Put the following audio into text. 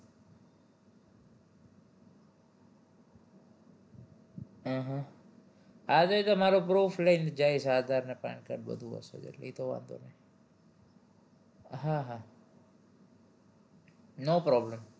હમ આજે જે મારું proof લઇ ને જાઈશ aadhar ને pan card બધું હશે જ એટલે ઈ તો વાંધો નહિ હા હા no problem